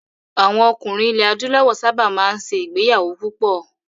Àwọn ọkùnrin ilẹ̀ Adúláwọ̀ sábà máa ń ṣe ìgbéyàwó púpọ̀.